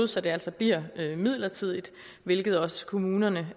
så det altså bliver midlertidigt hvilket også kommunerne